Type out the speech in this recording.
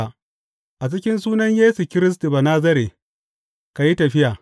A cikin sunan Yesu Kiristi Banazare, ka yi tafiya.